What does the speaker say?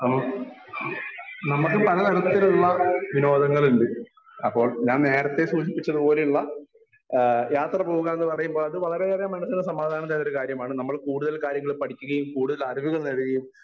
Speaker 1 നമുക്ക് പലതരത്തിലുള്ള വിനോദങ്ങളുണ്ട്. അപ്പോൾ ഞാൻ നേരത്തെ സൂചിപ്പിച്ചതു പോലെയുള്ള ആ യാത്ര പോവുക എന്നു പറയുമ്പോ അത് വളരെയേറെ മനസ്സിന് സമാധാനം തരുന്നൊരു കാര്യമാണ് നമ്മൾ കൂടുതൽ കാര്യങ്ങൾ പഠിക്കുകയും കൂടുതൽ അറിവുകൾ നേടുകയും